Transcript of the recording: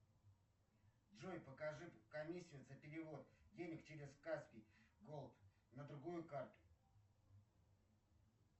джой покажи комиссию за перевод денег через каспий голд на другую карту